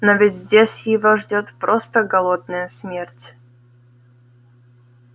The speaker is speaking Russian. но ведь здесь его ждёт просто голодная смерть